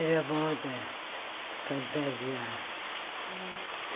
Era moda fantasiar. É e